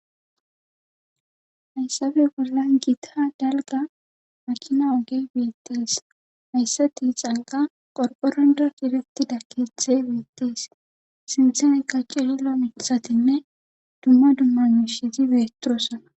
hayssape bollan giita dalga makina oge beettees hayssa tixanka qorphoronda cadetida kethi beettees sinseneka cindra mitisatinne dumma dumma mishizi beetosona